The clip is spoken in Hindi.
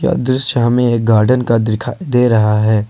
अदृश्य हमें एक गार्डन का दिखा दे रहा है।